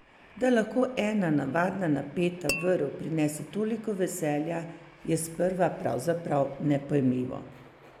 Da lahko ena navadna napeta vrv prinese toliko veselja, je sprva pravzaprav nepojmljivo.